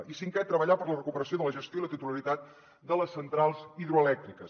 i cinquè treballar per la recuperació de la gestió i la titularitat de les centrals hidroelèctriques